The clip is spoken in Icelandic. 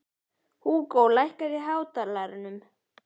Húgó, lækkaðu í hátalaranum.